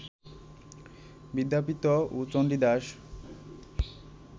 বিদ্যাপতি ও চন্ডীদাশ